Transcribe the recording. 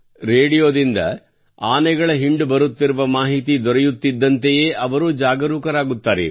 ರೇಡಿಯೋದಿಂದ ಆನೆಗಳ ಹಿಂಡು ಬರುತ್ತಿರುವ ಮಾಹಿತಿ ದೊರೆಯುತ್ತಿದ್ದಂತೆಯೇ ಅವರು ಜಾಗರೂಕರಾಗುತ್ತಾರೆ